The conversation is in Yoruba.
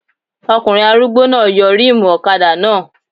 Ọkùnrin arúgbó náà yọ rímùù ọ̀kadà náà